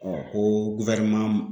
ko